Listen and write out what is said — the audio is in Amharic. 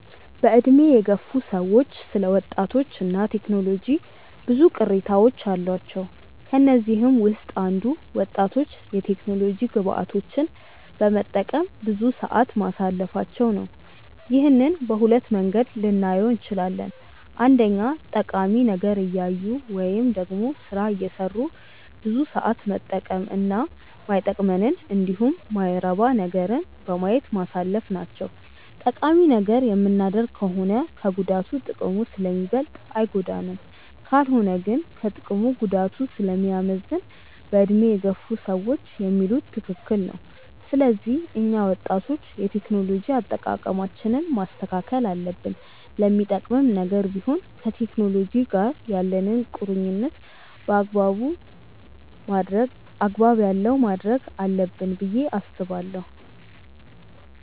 በዕድሜ የገፉ ሰዎች ስለ ወጣቶች እና ቴክኖሎጂ ብዙ ቅሬታዎች አሏቸው። ከነዚህም ውስጥ አንዱ ወጣቶች የቴክኖሎጂ ግብአቶችን በመጠቀም ብዙ ሰዓት ማሳለፋቸው ነው። ይህንን በሁለት መንገድ ልናየው እንችላለን። አንደኛ ጠቃሚ ነገር እያዩ ወይም ደግሞ ስራ እየሰሩ ብዙ ሰዓት መጠቀም እና ማይጠቅመንንን እንዲሁም የማይረባ ነገርን በማየት ማሳለፍ ናቸው። ጠቃሚ ነገር የምናደርግ ከሆነ ከጉዳቱ ጥቅሙ ስለሚበልጥ አይጎዳንም። ካልሆነ ግን ከጥቅሙ ጉዳቱ ስለሚያመዝን በዕድሜ የገፉ ሰዎች የሚሉት ትክክል ነው። ስለዚህ እኛ ወጣቶች የቴክኖሎጂ አጠቃቀማችንን ማስተካከል አለብን። ለሚጠቅምም ነገር ቢሆን ከቴክኖሎጂ ጋር ያለንን ቁርኝነት አግባብ ያለው ማድረግ አለብን ብዬ አስባለሁ።